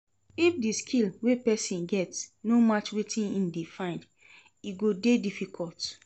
If di skill wey persin get no match with wetin im de find im go de difficult